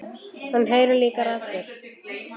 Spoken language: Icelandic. Hann heyrir líka raddir.